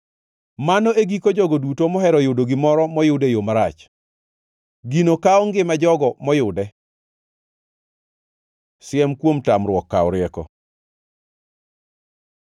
Mano e giko jogo duto mohero yudo gimoro moyud e yo marach; gino kawo ngima jogo moyude. Siem kuom tamruok kawo rieko